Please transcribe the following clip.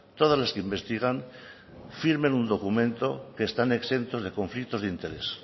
todas las que investigan firmen un documento que están exentos de conflictos de interés